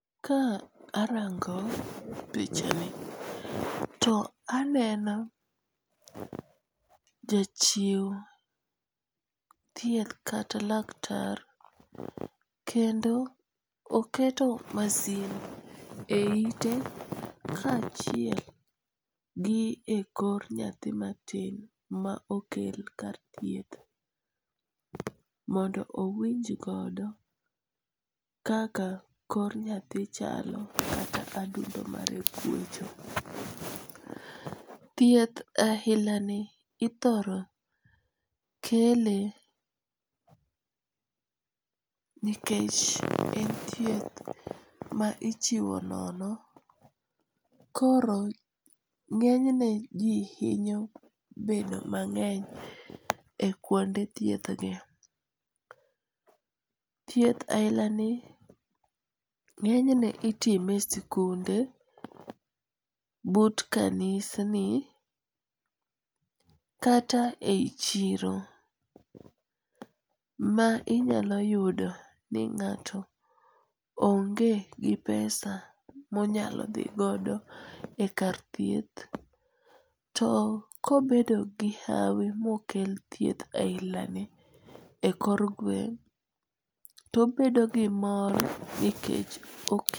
Ka arango pichani to aneno jachiu thieth kata laktar, kendo oketo masin e ite kachiel gi kor nyathi matin ma okel kar thieth, mondo owinjgodo kaka kor nyathi chalo kata adundo mare gwecho. Thieth ailani ithoro kele nikech en thieth ma ichiwo nono, koro ng'enyne ji hinyo bedo mang'eny e kuonde thiethgi, thieth ahilani ng'enyne itime e sikunde, but kanisni, kata e yi chiro ma inyalo yudo ni ng'ato onge gi pesa ma onyalo thi godo e kar thieth to kobedo gi hawi moker thieth hainani e kor gweng' to obedo gi mor nikech